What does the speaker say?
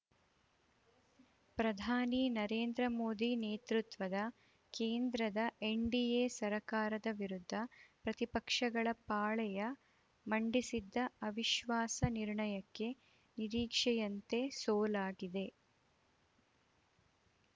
ಪ್ರಧಾನಿ ನರೇಂದ್ರ ಮೋದಿ ನೇತೃತ್ವದ ಕೇಂದ್ರದ ಎನ್‌ಡಿಎ ಸರ್ಕಾರದ ವಿರುದ್ಧ ಪ್ರತಿಪಕ್ಷಗಳ ಪಾಳೆಯ ಮಂಡಿಸಿದ್ದ ಅವಿಶ್ವಾಸ ನಿರ್ಣಯಕ್ಕೆ ನಿರೀಕ್ಷೆಯಂತೆ ಸೋಲಾಗಿದೆ